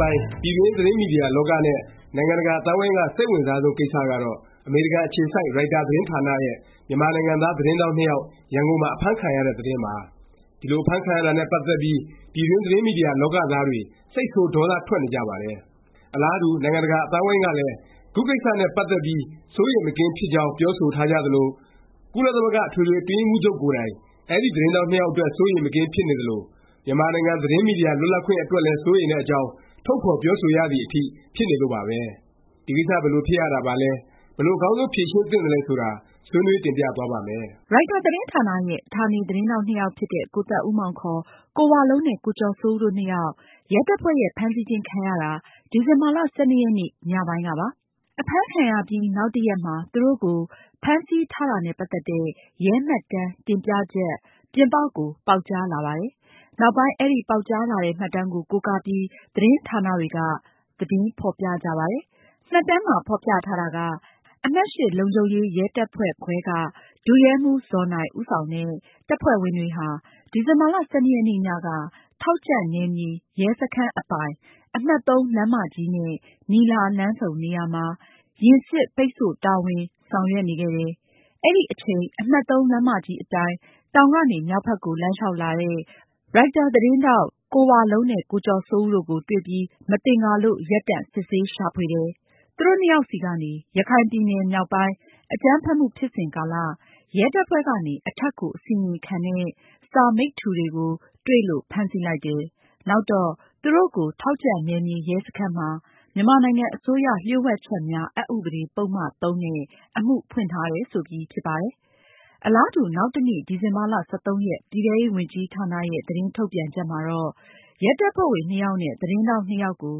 ပိုင်း ပြည်တွင်း သတင်းမီဒီယာလောကနဲ့ နိုင်ငံတကာ အသိုင်းအဝိုင်းက စိတ်အဝင်စားဆုံး ကိစ္စကတော့ ရိုက်တာ သတင်းဌာနရဲ့ မြန်မာသတင်းထောက် နှစ်ယောက် ရန်ကုန်မှာ အဖမ်းခံရတဲ့ သတင်းပါ။ ဒီလို အဖမ်းခံရတာနဲ့ ပတ်သက်ပြီး ပြည်တွင်း သတင်းမီဒီယာလောကသားတွေ စိတ်ဆိုး ဒေါသထွက်နေကြပါတယ်။ အလားတူ နိုင်ငံတကာ အသိုင်းအဝိုင်းကလည်း ခု ကိစ္စနဲ့ ပတ်သက်ပြီး စိုးရိမ်မကင်းဖြစ်ကြောင်း ပြောဆိုထားကြသလို၊ ကုလသမဂ္ဂ အထွေထွေ အတွင်းရေးမှူးချုပ်ကိုယ်တိုင် အဲဒီ သတင်းထောက်နှစ်ယောက် အတွက် စိုးရိမ်မကင်း ဖြစ်နေသလို၊ မြန်မာနိုင်ငံ သတင်းမီဒီယာ လွတ်လပ်ခွင့် အတွက်လည်း စိုးရိမ်တဲ့အကြောင်း ထုတ်ဖော်ပြောဆိုရသည် အထိ ဖြစ်နေလို့ပါပဲ။ ဒီကိစ္စ ဘယ်လို ဖြစ်ရတာပါလဲ၊ ဘယ်လို အကောင်းဆုံး ဖြေရှင်းသင့်သလဲဆိုတာ ဆွေးနွေး တင်ပြသွားပါ့မယ်။ ရိုက်တာသတင်းဌာနရဲ့ ဌာနေ သတင်းထောက်နှစ်ယောက် ဖြစ်တဲ့ ကိုသက်ဦးမောင် ခေါ် ကိုဝလုံးနဲ့ ကိုကျော်စိုးဦး တို့နှစ်ယောက် ရဲတပ်ဖွဲ့ရဲ့ ဖမ်းဆီးခြင်း ခံရတာ ဒီဇင်ဘာ ၁၂ ရက်နေ့ ညပိုင်းကပါ။ အဖမ်းခံရပြီး နောက်တစ်ရက်မှာ သူတို့ကို ဖမ်းဆီးထားတာနဲ့ ပတ်သက်တဲ့ ရဲမှတ်တမ်း တင်ပြချက် ပြင်ပကို ပေါက်ကြားလာပါတယ်။ နောက်ပိုင်း အဲဒီ ပေါက်ကြားလာတဲ့ မှတ်တမ်းကို ကိုးကားပြီး သတင်းဌာနတွေက သတင်းဖော်ပြကြပါတယ်။ မှတ်တမ်းမှာ ဖော်ပြထားတာက အမှတ် လုံခြုံရေး ရဲတပ်ဖွဲ့ခွဲက ဒုရဲမှူး ဇော်နိုင် ဦးဆောင်တဲ့ တပ်ဖွဲ့ဝင်တွေဟာ ဒီဇင်ဘာ ၁၂ ရက်နေ့ညက ထောက်ကြံ့နယ်မြေ ရဲစခန်းအပိုင် အမှတ် ၃ လမ်းမကြီးနဲ့ နီလာ လမ်းဆုံနေရာမှာ ယာဉ်စစ် ပိတ်ဆို့တာဝန်ဆောင်ရွက်နေခဲ့တယ်။ အဲဒီအချိန် အမှတ် လမ်းမကြီးအတိုင်း တောင်ကနေ မြောက်ဘက်ကို လမ်းလျောက်လာတဲ့ ရိုက်တာသတင်းထောက် ကိုဝလုံးနဲ့ ကိုကျော်စိုးဦးတို့ကို တွေ့ပြီး မသင်္ကာလို့ ရပ်တန့် စစ်ဆေး ရှာဖွေတယ်၊ သူတို့နှစ်ယောက်ဆီကနေ ရခိုင်ပြည်နယ် မြောက်ပိုင်း အကြမ်းဖက်မှု ဖြစ်စဉ်ကာလ ရဲတပ်ဖွဲ့ကနေ အထက်ကို အစီရင်ခံတဲ့ စာ မိတ္တူတွေကို တွေ့လို့ ဖမ်းဆီးလိုက်တယ်၊ နောက်တော့ သူတို့ကို ထောက်ကြံ့နယ်မြေ ရဲစခန်းမှာ မြန်မာနိုင်ငံအစိုးရ လှို့ဝှက်ချက်များ အက်ဥပဒေ ပုဒ်မ ၃ နဲ့ အမှုဖွင့်ထားတယ် ဆိုပြီး ဖြစ်ပါတယ်။ အလားတူ နောက်တစ်နေ့ ဒီဇင်ဘာ ၁၃ ရက် ပြည်ထဲရေးဝန်ကြီးဌာနရဲ့ သတင်းထုတ်ပြန်ချက် မှာတော့ ရဲတပ်ဖွဲ့ဝင် နှစ်ယောက်နဲ့ သတင်းထောက် နှစ်ယောက်ကို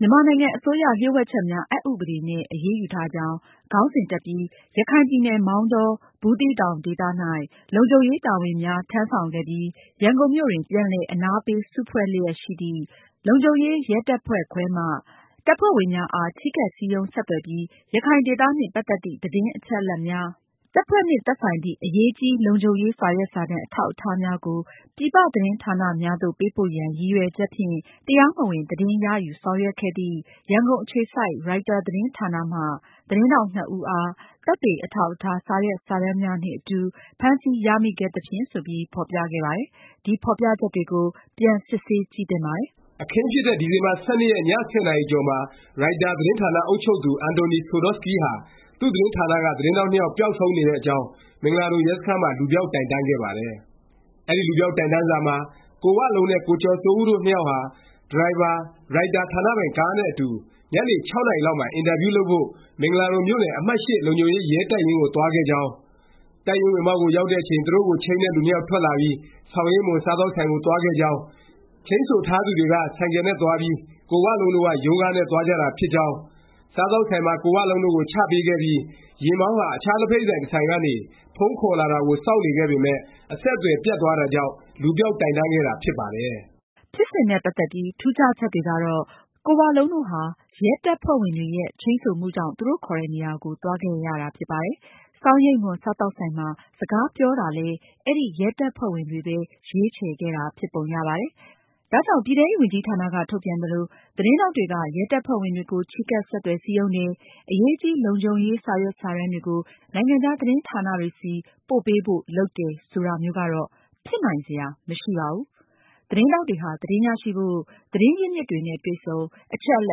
မြန်မာနိုင်ငံ အစိုးရ လျှို့ဝက်ချက်များ အက်ဥပဒေနဲ့ အရေးယူထားကြောင်း ခေါင်းစဉ်တပ်ပြီး “ရခိုင်ပြည်နယ်၊ မောင်တော-ဘူးသီးတောင်ဒေသ၌ လုံခြုံရေးတာဝန်များ ထမ်းဆောင်ခဲ့ပြီး ရန်ကုန်မြို့တွင် ပြန်လည်အနားပေး စုဖွဲ့လျက်ရှိသည့် လုံခြုံရေးရဲတပ်ဖွဲ့ခွဲမှ တပ်ဖွဲ့ဝင်များအား ချဉ်းကပ်စည်းရုံး ဆက်သွယ်ပြီး ရခိုင်ဒေသနှင့် ပတ်သက်သည့် သတင်းအချက်အလက်များ၊ တပ်ဖွဲ့ နှင့် သက်ဆိုင်သည့် အရေးကြီးလုံခြုံရေး စာရွက်စာတမ်း အထောက်အထားများကို ပြည်ပသတင်း ဌာနများသို့ ပေးပို့ရန် ရည်ရွယ်ချက်ဖြင့် တရားမဝင်သတင်း ရယူဆောင်ရွက်ခဲ့သည့် ရန်ကုန် အခြေစိုက် ရိုက်တာသတင်းဌာနမှ သတင်းထောက် ၂ ဦးအား သက်သေအထောက်အထား စာရွက်စာတမ်းများနှင့်အတူ ဖမ်းဆီးရမိခဲ့သဖြင့်” ဆိုပြီး ဖော်ပြခဲ့ပါတယ်။ ဒီဖော်ပြချက်တွေကို ပြန် စစ်ဆေးကြည့်သင့်ပါတယ်။ အခင်းဖြစ်တဲ့ ဒီဇင်ဘာ ၁၂ ရက် ည ၁၀ နာရီကျော်မှာ ရိုက်တာ သတင်းဌာန အုပ်ချုပ်သူ အန်တိုနီ ဆိုဒေါ့စကီး ဟာ သူ့သတင်းဌာနက သတင်းထောက် နှစ်ယောက် ပျောက်ဆုံးနေတဲ့အကြောင်း မင်္ဂလာဒုံရဲစခန်းမှာ လူပျောက် တိုင်တန်းခဲ့ပါတယ်။ အဲဒီ လူပျောက် တိုင်တန်းစာမှာ ကိုဝလုံးနဲ့ ကိုကျော်စိုးဦးတို့ နှစ်ယောက်ဟာ ဒရိုင်ဘာ၊ ရိုက်တာ ဌာနပိုင် ကားနဲ့ အတူ ညနေ ၆ နာရီလောက်မှာ အင်တာဗျူး လုပ်ဖို့ မင်္ဂလာဒုံမြို့နယ် အမှတ် လုံခြုံရေး ရဲတပ်ရင်းကို သွားခဲ့ကြောင်း၊ တပ်ရင်း ဝင်ပေါက်ကို ရောက်တဲ့အချိန် သူတို့ကို ချိန်းတဲ့ လူနှစ်ယောက် ထွက်လာပြီး ဆောင်ရိပ်မွန် စားသောက်ဆိုင်ကို သွားခဲ့ကြောင်း၊ ချိန်းဆိုထားသူတွေက ဆိုင်ကယ်နဲ့သွားပြီး ကိုဝလုံးတို့က ရုံးကားနဲ့ သွားကြတာ ဖြစ်ကြောင်း၊ စားသောက်ဆိုင်မှာ ကိုဝလုံးတို့ကို ချပေးခဲ့ပြီး ယာဉ်မောင်းဟာ အခြား လက်ဖက်ရည် ဆိုင်တစ်ဆိုင်ကနေ ဖုန်းခေါ်လာတာကို စောင့်နေခဲ့ပေမယ့် အဆက်အသွယ်ပြတ်သွားတာကြောင့် လူပျောက်တိုင်တန်းခဲ့တာ ဖြစ်ပါတယ်။ ဖြစ်စဉ်နဲ့ ပတ်သက်ပြီး ထူးခြားချက်တွေကတော့ ကိုဝလုံးတို့ဟာ ရဲတပ်ဖွဲ့ဝင်တွေရဲ့ ချိန်းဆိုမှုကြောင့် သူတို့ခေါ်တဲ့နေရာကို သွားခဲ့ရတာ ဖြစ်ပါတယ်။ ဆောင်ရိပ်မွန် စားသောက်ဆိုင်မှာ စကားပြောတာလည်း အဲဒီ ရဲတပ်ဖွဲ့ဝင်တွေပဲ ရွေးချယ်ခဲ့တာ ဖြစ်ပုံရပါတယ်။ ဒါကြောင့် ပြည်ထဲရေးဝန်ကြီးဌာနက ထုတ်ပြန်သလို “သတင်းထောက်တွေက ရဲတပ်ဖွဲ့ဝင်တွေကို ချဉ်းကပ် ဆက်သွယ် စည်းရုံးတယ်” “အရေးကြီး လုံခြုံရေး စာရွက်စာတမ်းတွေကို နိုင်ငံခြား သတင်းဌာနတွေဆီ ပို့ပေးဖို့” လုပ်တယ် ဆိုတာမျိုးကတော့ ဖြစ်နိုင်စရာ မရှိပါဘူး။ သတင်းထောက်တွေဟာ သတင်းရရှိဖို့ သတင်းရင်းမြစ်တွေနဲ့ တွေ့ဆုံ၊ အချက်အလ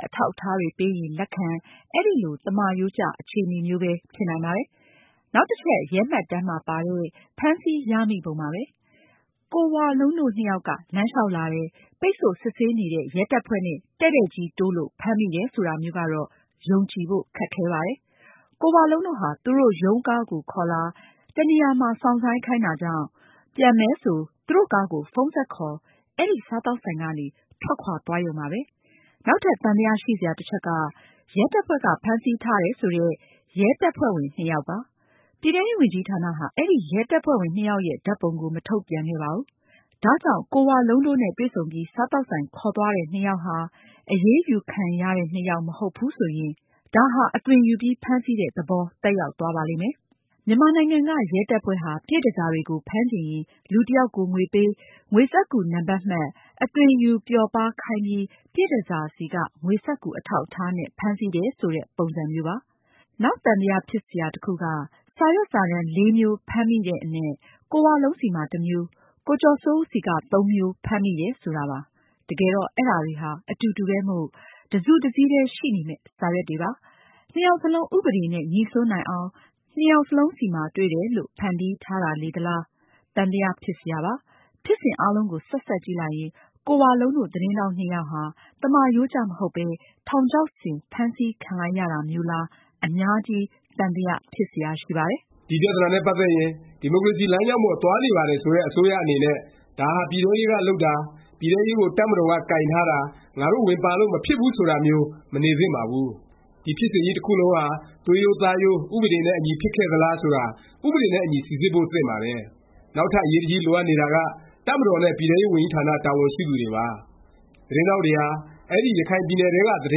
က်အထောက်အထားတွေ ပေးရင် လက်ခံ အဲဒီလို သမရိုးကျ အခြေအနေမျိုးပဲ ဖြစ်နိုင်ပါတယ်။ နောက်တစ်ချက် ရဲမှတ်တမ်းမှာ ပါတဲ့ ဖမ်းဆီးရမိပုံပါ။ ကိုဝလုံးတို့ နှစ်ယောက်က လမ်းလျောက်လာတယ်၊ ပိတ်ဆို့ စစ်ဆေးနေတဲ့ ရဲတပ်ဖွဲ့နဲ့ တည့်တည့်ကြီး တိုးလို့ ဖမ်းမိတယ် ဆိုတာမျိုးကတော့ ယုံကြည်ဖို့ ခက်ခဲပါတယ်။ ကိုဝလုံးတို့ဟာ သူတို့ရုံးကားကို ခေါ်လာ၊ တစ်နေရာမှာ စောင့်ဆိုင်းခိုင်းတာကြောင့် ပြန်မယ်ဆို သူတို့ကားကို ဖုန်းဆက်ခေါ် အဲဒီ စားသောက်ဆိုင်ကနေ ထွက်ခွာသွားရုံပါပဲ။ နောက်ထပ် သံသယ ရှိစရာ တစ်ချက်က ရဲတပ်ဖွဲ့က ဖမ်းဆီးထားတယ် ဆိုတဲ့ ရဲတပ်ဖွဲ့ဝင် နှစ်ယောက်ပါ။ ပြည်ထဲရေးဝန်ကြီးဌာနဟာ အဲဒီ ရဲတပ်ဖွဲ့ဝင် နှစ်ယောက်ရဲ့ ဓာတ်ပုံကို မထုတ်ပြန်ခဲ့ပါဘူး။ ဒါကြောင့် ကိုဝလုံးတို့နဲ့ တွေ့ဆုံပြီး စားသောက်ဆိုင် ခေါ်သွားတဲ့ နှစ်ယောက်ဟာ အရေးယူခံရတဲ့ နှစ်ယောက် မဟုတ်ဘူး ဆိုရင် ဒါဟာ အသွင်ယူပြီး ဖမ်းဆီးတဲ့ သဘော သက်ရောက်သွားပါလိမ့်မယ်။ မြန်မာနိုင်ငံက ရဲတပ်ဖွဲ့ဟာ ပြည့်တန်ဆာတွေကို ဖမ်းချင်ရင် လူတစ်ယောက်ကို ငွေပေး၊ ငွေစက္ကူနံပတ် မှတ်၊ အသွင်ယူ ပျော်ပါးခိုင်းပြီး ပြည့်တန်ဆာဆီက ငွေစက္ကူ အထောက်အထားနဲ့ ဖမ်းဆီးတယ် ဆိုတဲ့ ပုံစံမျိုးပါ။ နောက်သံသယ ဖြစ်စရာ တစ်ခုက စာရွက်စာတမ်း ၄ မျိုးဖမ်းမိတဲ့အနက် ကိုဝလုံးဆီမှာ တစ်မျိုး၊ ကိုကျော်စိုးဦး ဆီက သုံးမျိုး ဖမ်းမိတယ် ဆိုတာပါ။ တကယ်တော့ အဲဒါတွေဟာ အတူတူပဲမို့ တစ်စုတစ်စည်းထဲ ရှိနေမယ့် စာရွက်တွေပါ။ နှစ်ယောက်စလုံး ဥပဒေနဲ့ ငြိစွန်းနိုင်အောင် နှစ်ယောက်လုံးဆီမှာ တွေ့တယ်လို့ ဖန်တီးထားလေသလား၊ သံသယ ဖြစ်စရာပါ။ ဖြစ်စဉ်အားလုံးကို ဆက်စပ်ကြည့်လိုက်ရင် ကိုဝလုံးတို့ သတင်းထောက် နှစ်ယောက်ဟာ သမရိုးကျ မဟုတ်ပဲ ထောင်ချောက်ဆင် ဖမ်းဆီးခံလိုက်ရတာမျိုးလား အများကြီး သံသယဖြစ်စရာ ရှိပါတယ်။ ဒီပြသနာနဲ့ ပတ်သက်ရင် ဒီမိုကရေစီ လမ်းကြောင်းပေါ် သွားနေပါတယ် ဆိုတဲ့ အစိုးရ အနေနဲ့ ဒါဟာ ပြည်ထဲရေးက လုပ်တာ၊ ပြည်ထဲရေးကို တပ်မတော်က ကိုင်ထားတာ၊ ငါတို့ ဝင်ပါလို့ မဖြစ်ဘူး ဆိုတာမျိုး မနေသင့်ပါဘူး။ ဒီ ဖြစ်စဉ်ကြီး တစ်ခုလုံးဟာ သွေးရိုးသားရိုး ဥပဒေနဲ့ အညီ ဖြစ်ခဲ့သလား ဆိုတာ ဥပဒေနဲ့အညီ စိစစ်ဖို့ သင့်ပါတယ်။ နောက်ထပ် အရေးတကြီး လိုအပ်နေတာက တပ်မတော်နဲ့ ပြည်ထဲရေးဝန်ကြီးဌာန တာဝန်ရှိသူတွေပါ။ သတင်းထောက်တွေဟာ အဲဒီ ရခိုင်ပြည်နယ်ထဲက သတ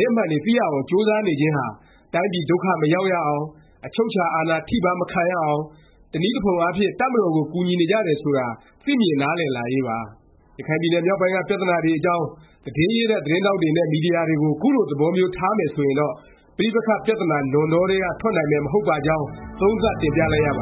င်းအမှန်တွေ သိရအောင် ကြိုးစားနေခြင်းဟာ တိုင်းပြည် ဒုက္ခ မရောက်ရအောင်၊ အချုပ်အခြာ အာဏာ ထိပါး မခံရအောင်၊ တစ်နည်းတစ်ဖုံအားဖြင့် တပ်မတော်ကို ကူညီနေကြတယ် ဆိုတာ သိမြင် နားလည်လာရေးပါ။ ရခိုင်ပြည်နယ် မြောက်ပိုင်းက ပြသနာတွေအကြောင်း သတင်းရေးတဲ့ သတင်းထောက်တွေနဲ့ မီဒီယာတွေကို ခုလို သဘောမျိုး ထားမယ်ဆိုရင်တော့ ပဋိပက္ခ ပြသနာ နွံတောထဲက ထွက်နိုင်မယ် မဟုတ်ပါကြောင်း သုံးသပ် တင်ပြလိုက်ရပ